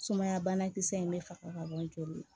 Sumaya banakisɛ in bɛ faga ka bɔ joli la